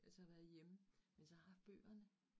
Ellers så har jeg været hjemme, men så har haft bøgerne